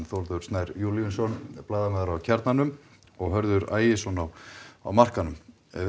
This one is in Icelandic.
Þórður Snær Júlíusson á Kjarnanum og Hörður Ægisson á á markaðnum